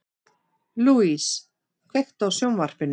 Louise, kveiktu á sjónvarpinu.